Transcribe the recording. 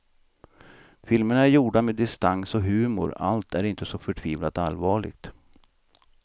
Filmerna är gjorda med distans och humor, allt är inte så förtvivlat allvarligt.